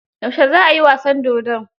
Yaushe za ai wasan dodon?